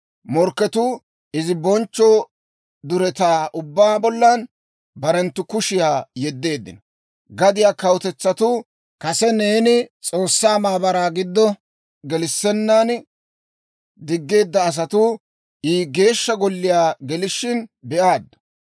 Morkketuu izi bonchcho duretaa ubbaa bollan barenttu kushiyaa yeddeeddino. Gadiyaa kawutetsatuu, kase neeni S'oossaa maabaraa giddo gelissennan diggeedda asatuu, I Geeshsha Golliyaa gelishin be'aaddu.